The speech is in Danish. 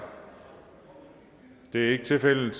da det er ikke tilfældet